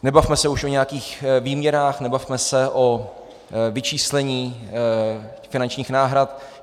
Nebavme se už o nějakých výměrách, nebavme se o vyčíslení finančních náhrad.